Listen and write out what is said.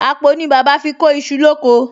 Àpò ni bàbá fi kó iṣu lóko